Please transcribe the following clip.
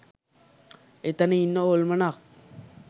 එතන ඉන්න හොල්මනක්